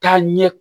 Taa ɲɛ